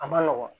A ma nɔgɔn